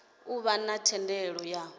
a vha na thendelo ya